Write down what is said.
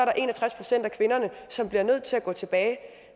er en og tres procent af kvinderne som bliver nødt til at gå tilbage